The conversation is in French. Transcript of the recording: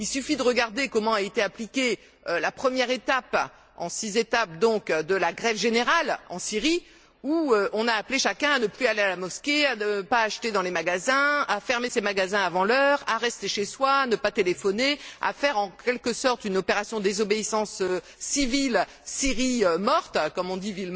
Il suffit de regarder comment a été appliquée la première des six étapes de la grève générale en Syrie, au cours de laquelle on a appelé chacun à ne plus aller à la mosquée, à ne pas acheter dans les magasins, à fermer les magasins avant l'heure, à rester chez soi, à ne pas téléphoner, à mener en quelque sorte une opération de désobéissance civile Syrie morte, comme on dit